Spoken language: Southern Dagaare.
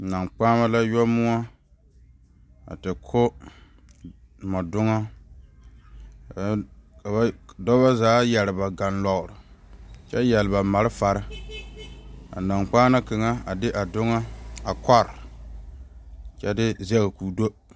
Nankpaana la yoɔ moɔ a te ko moɔ doŋa dɔɔba zaa yeere ba gɔlɔre kyɛ yeere ba maalefaare a nankpaana kaŋa a de a doŋa a kɔre kyɛ de zage ko'o do.